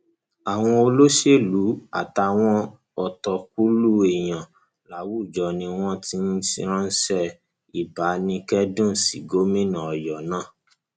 àwọn olóṣèlú àtàwọn ọtọkùlú èèyàn láwùjọ ni wọn ti ń ránṣẹ ìbánikẹdùn sí gómìnà ọyọ náà